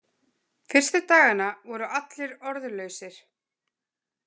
Fyrstu dagana voru allir orðlausir.